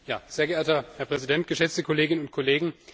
Sehr geehrter Herr Präsident, geschätzte Kolleginnen und Kollegen!